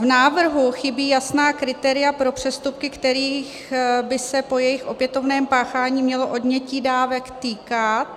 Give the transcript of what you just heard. V návrhu chybí jasná kritéria pro přestupky, kterých by se po jejich opětovném páchání mělo odnětí dávek týkat.